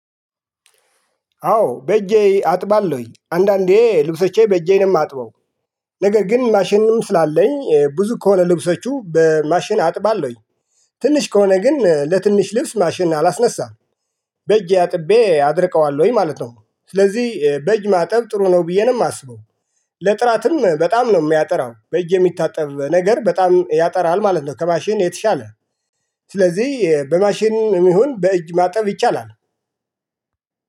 አዎ በእጄ አጥባለሁኝ አንዳንዴ ልብሶቼ በእጄ ነው የማጥበው። ነገር ግን ማሽንም ስላለኝ ብዙ ከሆነ ልብሶቹ በማሽን አጥባለሁኝ። ትንሽ ከሆነ ግን ለትንሽ ልብስ ማሽን አላስነሳም። በእጄ አጥቤ አድርቀዋለሁኝ ማለት ነው ስለዚህ በእጅ ማጠብ ጥሩ ነው ብዬ ነው የማስበው። ለጥራትም በጣም ነው የሚያጠራው በእጅ የሚታጠብ ነገር በጣም ያጠራል ማለት ነው ከማሽን የተሻለ። ስለዚህ በማሽን የሚሆን በእጅ ማጠብ ይቻላል።